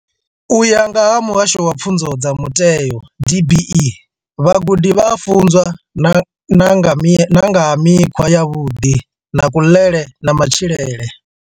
U ya nga vha Muhasho wa Pfunzo dza Mutheo DBE, vhagudi vha a funzwa na nga ha mikhwa yavhuḓi ya kuḽele na matshilele.